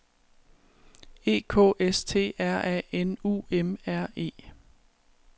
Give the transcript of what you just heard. E K S T R A N U M R E